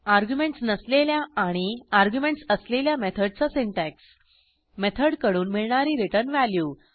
arguments नसलेल्या आणि arguments असलेल्या मेथडचा सिंटॅक्स मेथड कडून मिळणारी रिटर्न व्हॅल्यू